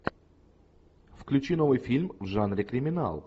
включи новый фильм в жанре криминал